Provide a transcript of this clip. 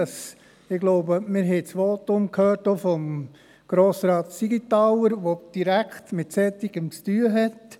Ich glaube, wir haben auch das Votum von Grossrat Siegenthaler gehört, der direkt mit Solchem zu tun hat.